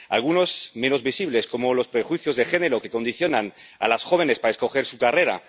Algunos menos visibles, como los prejuicios de género, que condicionan a las jóvenes para escoger su carrera.